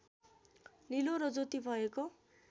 निलो र ज्योति भएको